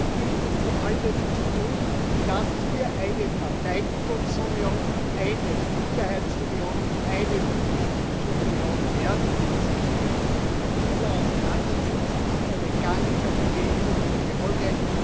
Ich bitte Sie, alles zu tun, dass wir eine Verteidigungsunion, eine Sicherheitsunion, eine politische Union werden. Sie spielen in dieser Auseinandersetzung eine ganz wesentliche Rolle.